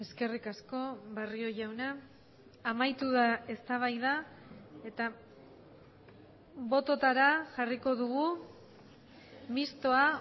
eskerrik asko barrio jauna amaitu da eztabaida eta bototara jarriko dugu mistoa